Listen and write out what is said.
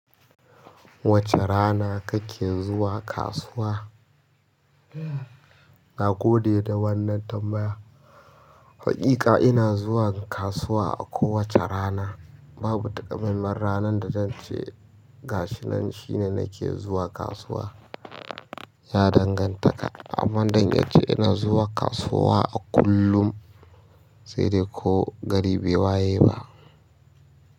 Wace rana kake zuwa kasuwa? Na gode da wannan tambaya. Haƙiƙa ina zuwa kasuwa kowace rana. Babu taƙamaiman ranar da zance gashinan shine nake zuwa kasuwa. Ya danganta kam, amma zan iya cewa ina zuwa kasuwa a kullum, sai dai ko gari bai waye ba.